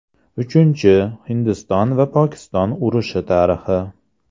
Uchinchi Hindiston va Pokiston urushi tarixi.